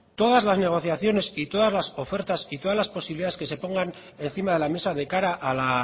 todas las negociaciones y todas las ofertas y todas las posibilidades que se pongan encima de la mesa de cara a la